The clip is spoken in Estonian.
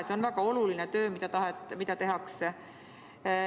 See on väga oluline töö, mida tehakse.